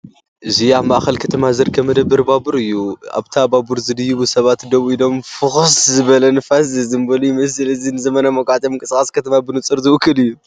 እዚ ኣብ ማእከል ከተማ ዝርከብ መደበር ባቡር እዩ። ኣብታ ባቡር ዝድይቡ ሰባት ደው ኢሎምን ፍኹስ ዝበለ ንፋስን ዝዘንበሉ ይመስል። እዚ ንዘመናዊ መጓዓዝያን ምንቅስቓስ ከተማን ብንጹር ዝውክል እዩ።